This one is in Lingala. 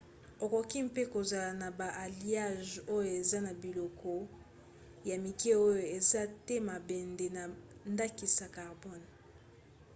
okoki mpe kozala na ba alliages oyo eza na biloko ya mike oyo eza te mabende na ndakisa carbone